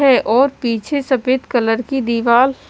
है और पीछे सफ़ेद कलर दिवार--